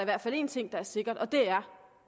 hvert fald en ting der er sikker og det er